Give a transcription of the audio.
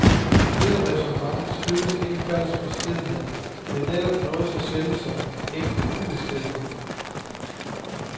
Dette ræsonnement skyldtes ikke falsk beskedenhed, men netop noget så sjældent som ægte ubeskedenhed.